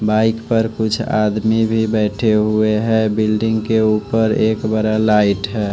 Bike पर कुछ आदमी भी बैठे हुए है बिल्डिंग के ऊपर एक बड़ा लाइट है।